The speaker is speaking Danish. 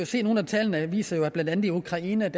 se at nogle af tallene viser at der blandt andet i ukraine